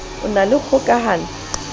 e na le kgoka hano